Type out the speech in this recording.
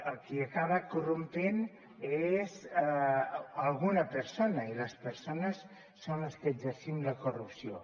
el qui acaba corrompent és alguna persona i les persones són les que exercim la corrupció